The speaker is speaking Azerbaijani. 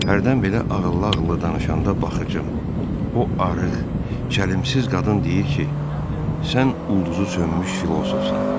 Hərdən belə ağıllı-ağıllı danışanda baxıcım, o arıq, çəlimsiz qadın deyir ki, sən ulduzu sönmüş filosofsan.